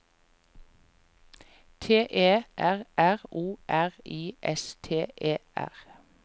T E R R O R I S T E R